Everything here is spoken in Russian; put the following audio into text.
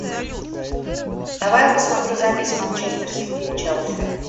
давай я посмотрю запись манчестер сити и челси